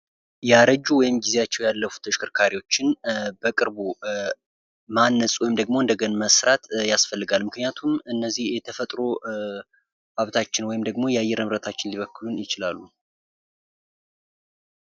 ያረጁ ወይም ጊዜያቸው ያለፉ ተሽከርካሪዎችን በቅርቡ ማነፅ ወይም ደግሞ እንደገና መስራት ያስፈልጋል ።ምክንያቱም እነዚህ የተፈጥሮ ሀብታችን ወይም ደግሞ የአየር ንብረታችን ሊበክሉን ይችላሉ።